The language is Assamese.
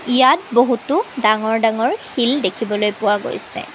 ইয়াত বহুতো ডাঙৰ ডাঙৰ শিল দেখিবলৈ পোৱা গৈছে।